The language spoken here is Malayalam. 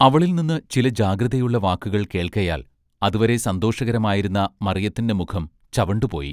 അവളിൽനിന്ന് ചില ജാഗ്രതയുള്ള വാക്കുകൾ കേൾക്കയാൽ അതുവരെ സന്തോഷകരമായിരുന്ന മറയത്തിന്റെ മുഖം ചവണ്ടു പോയി.